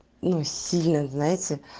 ну сильно знаете